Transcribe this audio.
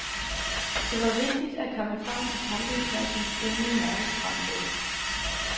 Det var vigtigt at komme frem til campingpladsen inden mørkets frembrud.